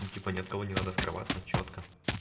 ну типа ни от кого не надо скрываться чётко